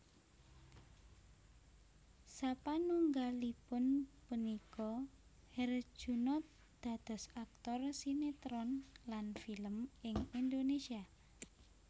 Sapanunggalipun punika Herjunot dados aktor sinetron lan film ing Indonesia